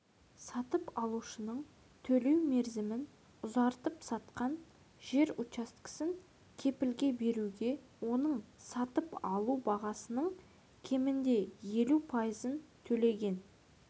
сатып алушының төлеу мерзімін ұзартып сатқан жер учаскесін кепілге беруге оның сатып алу бағасының кемінде елу пайызын төлеген